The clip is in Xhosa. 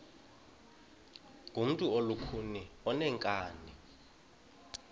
ngumntu olukhuni oneenkani